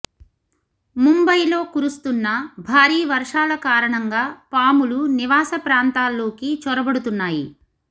ముంబయిలో కురుస్తున్న భారీ వర్షాల కారణంగా పాములు నివాస ప్రాంతాల్లోకి చొరబడుతున్నాయి